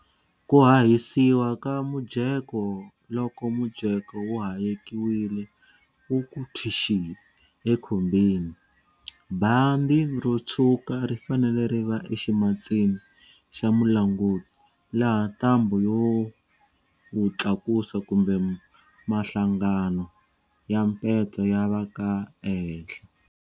Ku hahisiwa ka mujeko loko mujeko wu hayekiwile wu ku thwixi ekhumbini, bandi ro tshwuka ri fanele ri va eximatsini xa mulanguti laha ntambhu yo wu tlakusa kumbe mahlangano ya mpetso ya va ka ehenhla.